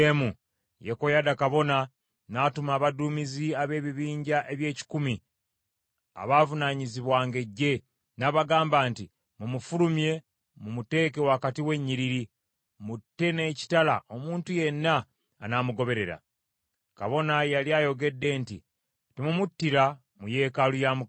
Yekoyaada kabona n’atuma abaduumizi ab’ebibinja eby’ekikumi, abaavunaanyizibwanga eggye, n’abagamba nti, “Mumufulumye mumuteeke wakati w’enyiriri, mutte n’ekitala omuntu yenna anaamugoberera.” Kabona yali ayogedde nti, “Temumuttira mu yeekaalu ya Mukama .”